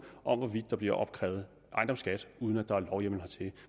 der bliver opkrævet ejendomsskat uden at der er lovhjemmel hertil